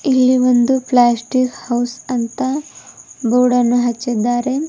ಇಲ್ಲಿ ಒಂದು plastic house ಅಂತ ಬೋರ್ಡನ್ನು ಹಚ್ಚಿದ್ದಾರೆ.